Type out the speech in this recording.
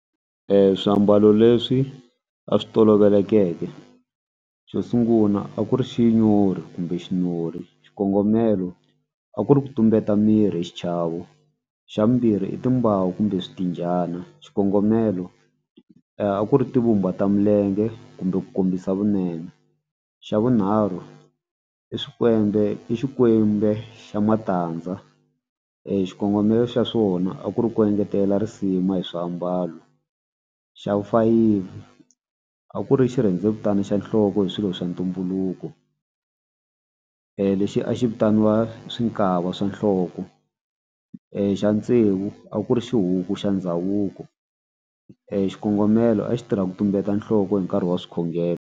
Swiambalo leswi a swi tolovelekeke xo sungula a ku ri xinyori kumbe xinori xikongomelo a ku ri ku tumbeta mirhi hi xichavo. Xa vumbirhi i timbawu kumbe switinjhana xikongomelo a ku ri ti vumba ta milenge kumbe ku kombisa vunene xa vunharhu i swikwembe i xikwembe xa matandza i xikongomelo xa swona a ku ri ku engetela risima hi swiambalo. Xa vufayifi a ku ri xirhendevutani xa nhloko hi swilo swa ntumbuluko lexi a xi vitaniwa swi nkava swa nhloko. Xa tsevu a ku ri xihuku xa ndhavuko xikongomelo a xi tirha ku tumbeta nhloko hi nkarhi wa swikhongelo.